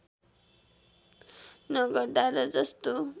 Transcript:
नगर्दा र जस्तो